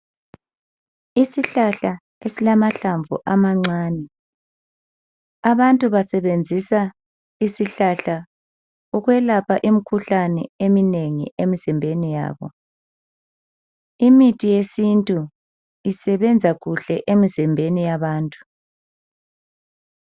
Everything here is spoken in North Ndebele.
Isihlahla esilamahlamvu amancane abantu basebenzisa isihlahla ukwelapha imikhuhlane eminengi emizimbeni yabo imithi yesintu isebenza kuhle emzimbeni yabantu.